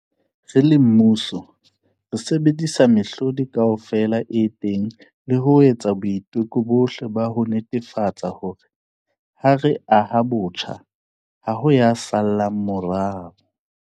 Re le mmuso, re sebedisa mehlodi kaofela e teng le ho etsa boiteko bohle ba ho netefatsa hore, ha re aha botjha, ha ho ya sa llang morao.